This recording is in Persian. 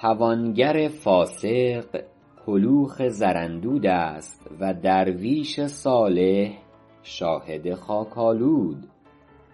توانگر فاسق کلوخ زراندود است و درویش صالح شاهد خاک آلود